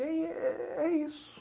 E aí é é é isso.